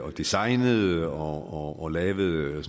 designede og og lavede